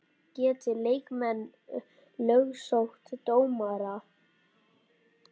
Geta leikmenn lögsótt dómara?